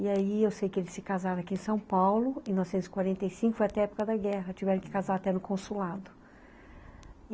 E aí eu sei que eles se casaram aqui em São Paulo em mil novecentos e quarenta e cinco, foi até a época da guerra, tiveram que casar até no consulado.